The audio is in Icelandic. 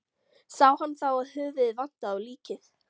Sá hann þá að höfuðið vantaði á líkið.